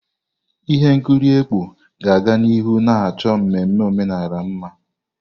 Ihe nkiri ekpó ga-aga n'ihu na achọ mmemme omenala mma.